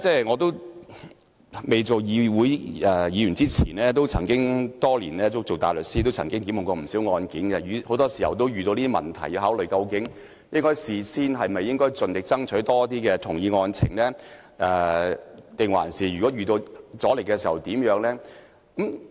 我未擔任立法會議員前，曾經是執業大律師，多年來處理過不少案件，很多時候也要考慮，應否事先盡力爭取多一些同意案情，遇到阻力的話又要怎樣做。